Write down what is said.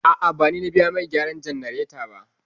A'a, ba ni na biya mai gyaran jannareta ba.